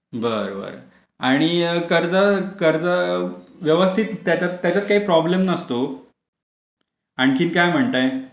बरं बरं आणि कर्ज कर्ज व्यवस्थित त्याच्यात काही प्रॉब्लेम नसतो. आणखी काय म्हणताय .